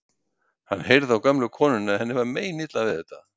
Hann heyrði á gömlu konunni að henni var meinilla við þetta.